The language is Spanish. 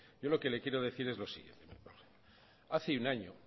yo lo que le quiero decir es lo siguiente